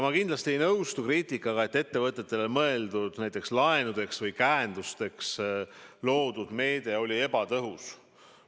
Ma kindlasti ei nõustu kriitikaga, nagu ettevõtetele mõeldud näiteks laenudeks või käendusteks loodud meede oleks olnud ebatõhus.